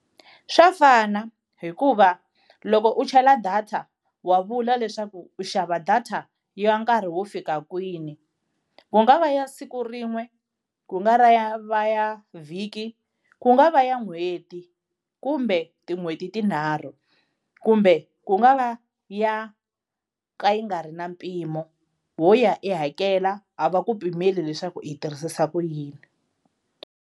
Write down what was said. Swa fana hikuva loko u chela data wa vula leswaku u xava data ya nkarhi wo fika kwini, ku nga va ya siku rin'we ku nga ra ya va ya vhiki, ku nga va ya n'hweti kumbe tin'hweti tinharhu, kumbe ku nga va ya ka yi nga ri na mpimo wo ya i hakela a va ku pimeli leswaku i yi tirhisisa ku yini.